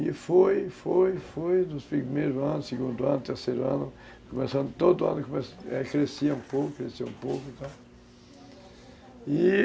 E foi, foi, foi, dos primeiros anos, segundo ano, terceiro ano, começando todo ano, crescia um pouco, crescia um pouco e tal, e